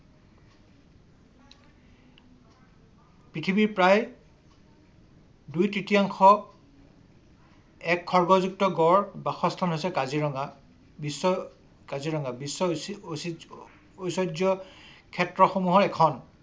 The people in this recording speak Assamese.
পৃথিৱীৰ প্ৰায় দুই তৃতীয়াংশ এক খড়্গযুক্ত গঁড় বাসস্থান হৈছে কাজিৰঙা। বিশ্বৰ কাজিৰঙা বিশ্ব ঐতিহ্যক্ষেত্ৰ সমূহৰ এখন